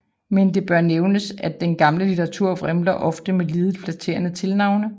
Men det bør nævnes at den gamle litteratur vrimler med ofte lidet flatterende tilnavne